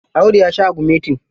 Audu ya sha agumetin.